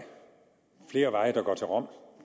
flere veje der går til rom